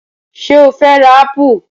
Sọ fẹ́ ra ápù?